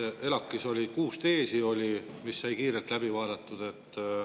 ELAK-is oli kuus teesi, mis said kiirelt läbi vaadatud.